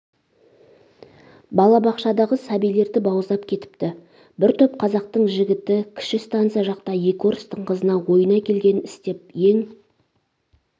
балабақшадағы сәбилерді бауыздап кетіпті бір топ қазақтың жігіті кіші станица жақта ек орыстың қызына ойына келгенін істеп ең